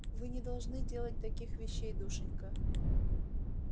вы не должны делать таких вещей душенька